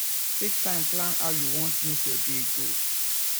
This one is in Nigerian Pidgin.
take time plan how you want make your day go